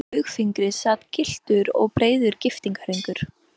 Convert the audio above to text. Á baugfingri sat gylltur og breiður giftingarhringur.